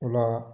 O la